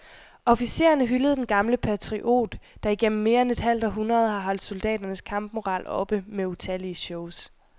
Officererne hyldede den gamle patriot, der igennem mere end et halvt århundrede har holdt soldaternes kampmoral oppe med utallige shows.